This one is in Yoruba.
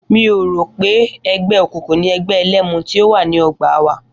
Mi ò rò wí pé e̩gbé̩ òkùnkùn ni e̩gbé̩ e̩lé̩mu tí ó wà ní o̩gbà wa